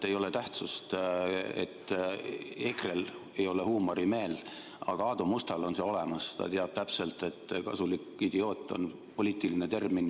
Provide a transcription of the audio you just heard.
Ei ole tähtsust, et EKRE-l ei ole huumorimeelt, aga Aadu Mustal on see olemas – ta teab täpselt, et "kasulik idioot" on poliitiline termin.